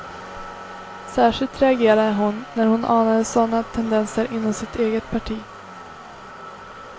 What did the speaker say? Särskilt reagerade hon när hon anade sådana tendenser inom sitt eget parti.